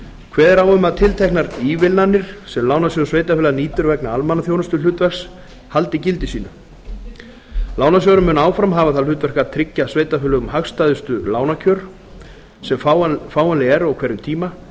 kveðið er á um að tilteknar ívilnanir sem lánasjóður sveitarfélaga nýtur vegna almannaþjónustuhlutverks haldi gildi sínu lánasjóðurinn mun áfram hafa það hlutverk að tryggja sveitarfélögum hagstæðustu lánakjör sem fáanleg eru á hverjum tíma